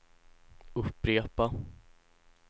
upprepa